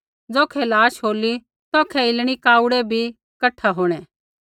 ज़ौखै लाश होली तौखै इलणीकाऊड़ै भी कठा होंणै